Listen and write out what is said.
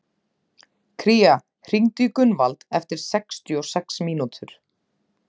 Kíra, hringdu í Gunnvald eftir sextíu og sex mínútur.